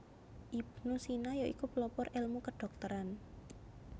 Ibnu Sina ya iku pelopor elmu kedhokteran